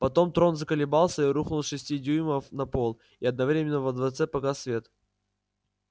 потом трон заколебался и рухнул с шести дюймов на пол и одновременно во дворце погас свет